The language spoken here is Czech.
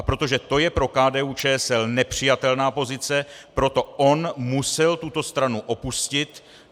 A protože to je pro KDU-ČSL nepřijatelná pozice, proto on musel tuto stranu opustit.